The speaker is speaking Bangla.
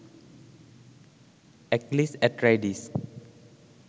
এক্লিস এট্রাইডিস